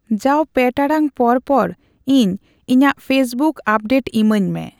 ᱡᱟᱣ ᱯᱮ ᱴᱟᱲᱟᱝ ᱯᱚᱨ ᱯᱚᱨ ᱤᱧ ᱤᱧᱟᱹᱜ ᱯᱷᱮᱥᱵᱩᱠ ᱟᱯᱰᱮᱴ ᱤᱢᱟᱹᱧᱢᱮ